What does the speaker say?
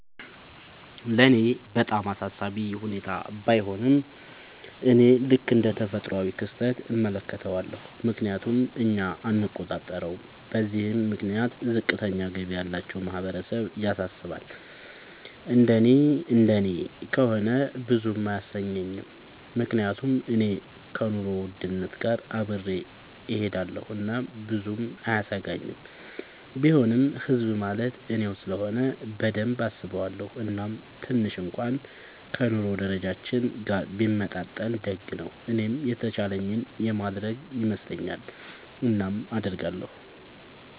ለኔ በጣም አሳሳቢ ሁኔታ ባይሆንም፤ እኔ ልክ እንደ ተፈጥሯዊ ክስተት እመለከተዋለሁ፤ ምክንያቱም እኛ አንቆጣጠረውም። በዚህም ምክንያት ዝቅተኛ ገቢ ያላቸው ማህበረሰብ ያሳስባል፤ እንደኔ እንደኔ ከሆነ ብዙም አያሰኘኝም፤ ምክንያቱም እኔ ከኑሮ ውድነት ጋር አብሬ እሆዳለኹ እናም ብዙም አያሰጋኝም፤ ቢሆንም ህዝብ ማለት እኔው ስለሆነ በደንብ አስበዋለው፤ እናም ትንሽ እንኩዋን ከ ኑሮ ደረጃችን ጋር ቢመጣጠን ደግ ነው። እኔም የተቻለኝን የማረግ ይመስለኛል። እናም አረጋለው።